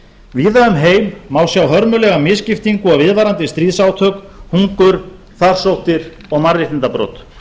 víða um heim má sjá hörmulega misskiptingu og viðvarandi stríðsátök hungur farsóttir og mannréttindabrot